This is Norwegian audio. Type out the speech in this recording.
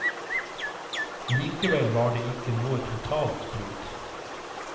Likevel var det ikke noe totalt brudd.